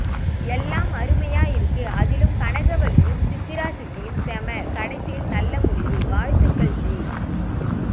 எல்லாம் அருமையா இருக்கு அதிலும் கனகவள்ளியும் சித்திரா சித்தியும் செம கடைசியில் நல்ல முடிவு வாழ்த்துகள் ஜி